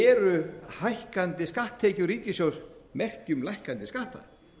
eru hækkandi skatttekjur ríkissjóðs merki um lækkandi skatta